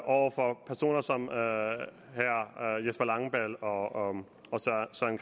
over for personer som herre jesper langballe og